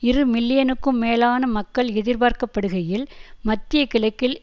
இரு மில்லியனுக்கும் மேலான மக்கள் எதிர்பார்க்கப்படுகையில் மத்திய கிழக்கில்